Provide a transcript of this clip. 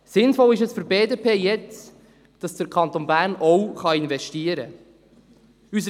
Sinnvoll ist es für die BDP jetzt, dass der Kanton Bern auch investieren kann.